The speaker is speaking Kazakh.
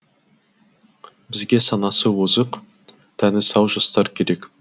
бізге санасы озық тәні сау жастар керек